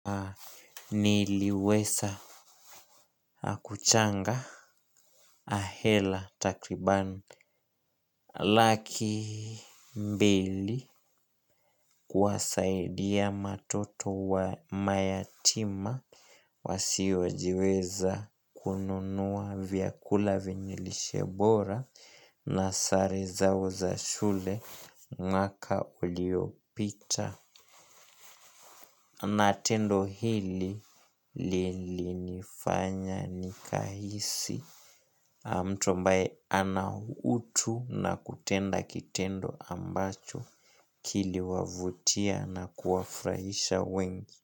Niliweza kuchanga hela takribani laki mbili kuwasaidia watoto wa mayatima wasiojiweza kununua vyakula vyenye lishe bora. Na sare zao za shule mwaka uliopita. Na tendo hili lilinifanya nikahisi mtu ambaye ana utu na kutenda kitendo ambacho kiliwavutia na kuwafurahisha wengi.